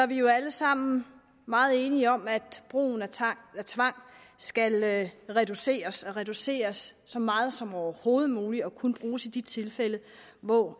vi jo alle sammen meget enige om at brugen af tvang af tvang skal reduceres og reduceres så meget som overhovedet muligt og kun bruges i de tilfælde hvor